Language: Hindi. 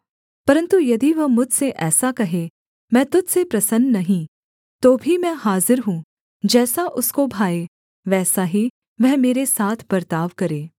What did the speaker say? परन्तु यदि वह मुझसे ऐसा कहे मैं तुझ से प्रसन्न नहीं तो भी मैं हाजिर हूँ जैसा उसको भाए वैसा ही वह मेरे साथ बर्ताव करे